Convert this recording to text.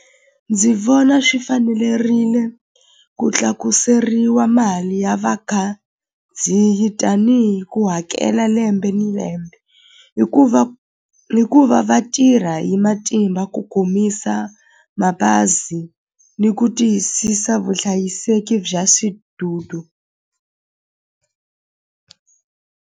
Ndzi vona swi fanelerile ku tlakuseriwa mali ya vakhandziyi tanihi ku hakela lembe ni lembe hikuva, hikuva va tirha hi matimba ku komisa mabazi ni ku tiyisisa vuhlayiseki bya .